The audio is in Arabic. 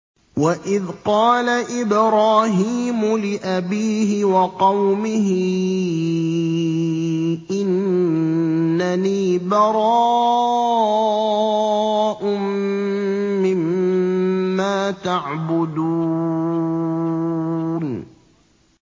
وَإِذْ قَالَ إِبْرَاهِيمُ لِأَبِيهِ وَقَوْمِهِ إِنَّنِي بَرَاءٌ مِّمَّا تَعْبُدُونَ